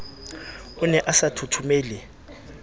o ne a sa thothomele